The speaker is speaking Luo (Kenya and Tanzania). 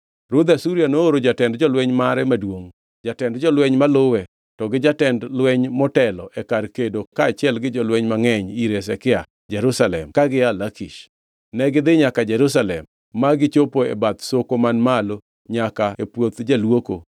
Ruodh Asuria nooro jatend jolweny mare maduongʼ, jatend jolweny maluwe to gi jatend lweny motelo e kar kedo kaachiel gi jolweny mangʼeny ir Hezekia Jerusalem ka gia Lakish. Negidhi nyaka Jerusalem ma gichopo e bath Soko man malo nyaka e puoth jaluoko.